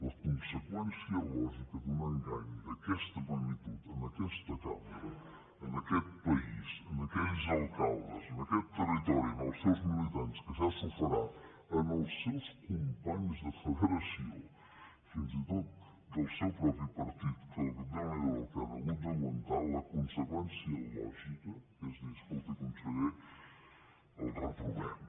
la conseqüència lògica d’un engany d’aquesta magnitud en aquesta cambra a aquest país a aquells alcaldes en aquest territori als seus militants que ja s’ho farà als seus companys de federació fins i tot del seu propi partit que déu n’hi do del que han hagut d’aguantar la conseqüència lògica és dir escolti conseller el reprovem